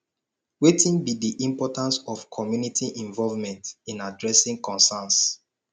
wetin be di importance of community involvement in addressing concerns